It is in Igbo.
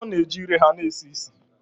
Agwo na-eji ire ha na-esi ísì